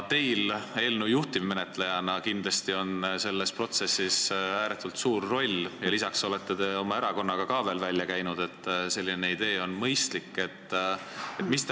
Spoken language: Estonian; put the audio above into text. Teil eelnõu juhtivmenetlejana on selles protsessis kindlasti ääretult suur roll ja lisaks olete oma erakonnaga ka kinnitanud, et selline idee on mõistlik.